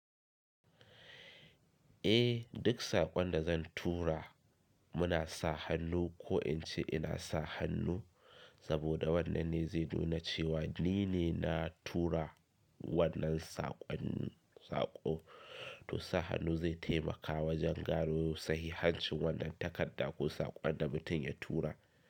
Eh, duk saƙon da zan tura muna sa hannu ko in ce ina sa hannu saboda wannan ne zai nuna cewa ni ne na tura wannan saƙon. To sa hannu zai taimaka wajan gano sahihancin wannan takarda ko saƙon da mutum ya tura.